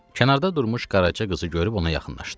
Kənarda durmuş Qaraca qızı görüb ona yaxınlaşdı.